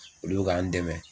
Olu bɛ k'an dɛmɛ